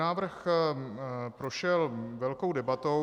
Návrh prošel velkou debatou.